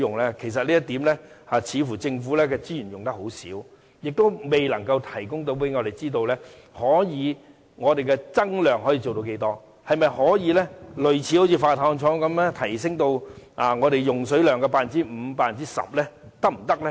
政府在此方面的資源似乎用得很少，而且未能告訴我們，可以增量到多少，可否做到類以海水化淡廠般提升至我們用水量的 5% 或 10% 般？